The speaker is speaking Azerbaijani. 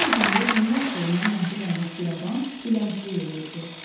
Gözəl bir gündə dünya işığından məhrum olmuş bir adam dilənçilik eləyirdi.